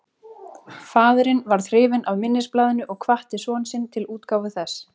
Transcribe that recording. Faðirinn varð hrifinn af minnisblaðinu og hvatti son sinn til útgáfu þess.